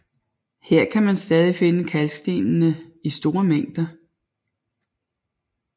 Her kan man stadig finde kalkstenene i store mængder